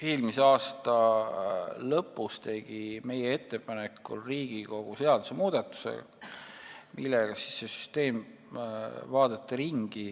Eelmise aasta lõpus tegi Riigikogu meie ettepanekul seadusmuudatuse, millega vaadati see süsteem üle.